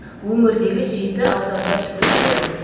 өңірдегі жеті ауданда жүргізілді